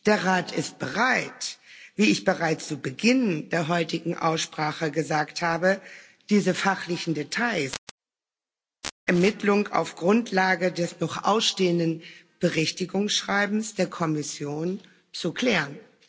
Der Rat ist bereit wie ich bereits zu Beginn der heutigen Aussprache gesagt habe diese fachlichen Details im Rahmen der Vermittlung auf Grundlage des noch ausstehenden Berichtigungsschreibens der Kommission zu klären.